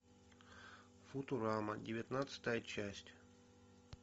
футурама девятнадцатая часть